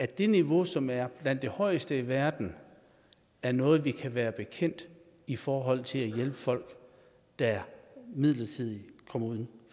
det niveau som er blandt de højeste i verden er noget vi kan være bekendt i forhold til at hjælpe folk der midlertidigt kommer uden